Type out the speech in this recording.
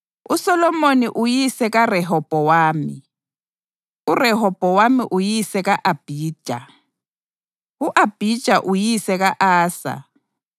uSolomoni uyise kaRehobhowami, uRehobhowami uyise ka-Abhija, u-Abhija uyise ka-Asa,